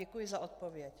Děkuji za odpověď.